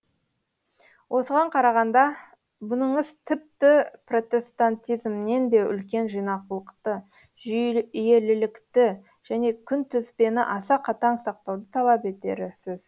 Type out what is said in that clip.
осыған қарағанда бұныңыз тіпті протестантизмнен де үлкен жинақылықты жүйелілікті және күнтізбені аса қатаң сақтауды талап етері сөз